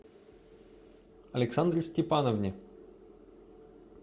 александре степановне